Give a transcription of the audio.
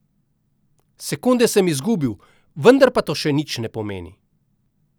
Sekunde sem izgubil, vendar pa to še nič ne pomeni.